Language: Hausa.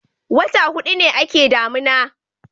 wata hudu ne a ke damina